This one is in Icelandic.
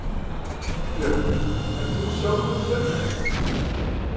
Björn: Ert þú sjálfur sérvitur?